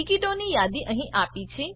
ટીકીટોની યાદી અહીં આપી છે